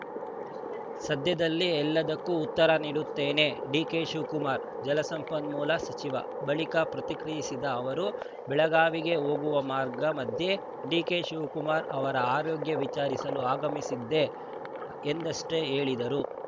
ಸದ್ಯದಲ್ಲೇ ಎಲ್ಲದಕ್ಕೂ ಉತ್ತರ ನೀಡುತ್ತೇನೆ ಡಿಕೆ ಶಿವಕುಮಾರ್‌ ಜಲಸಂಪನ್ಮೂಲ ಸಚಿವ ಬಳಿಕ ಪ್ರತಿಕ್ರಿಯಿಸಿದ ಅವರು ಬೆಳಗಾವಿಗೆ ಹೋಗುವ ಮಾರ್ಗ ಮಧ್ಯೆ ಡಿಕೆ ಶಿವಕುಮಾರ್‌ ಅವರ ಆರೋಗ್ಯ ವಿಚಾರಿಸಲು ಆಗಮಿಸಿದ್ದೆ ಎಂದಷ್ಟೇ ಹೇಳಿದರು